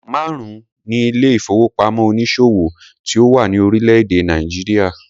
Márùn-ún ni ilé ìfowópamọ́ onísòwò tí ó wà ní orílẹ̀-èdè Nàìjíríà.